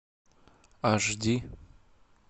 аш ди